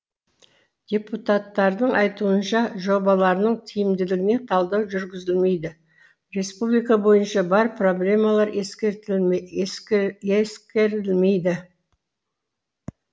депутаттардың айтуынша жобаларының тиімділігіне талдау жүргізілмейді республика бойынша бар проблемалар ескерілмейді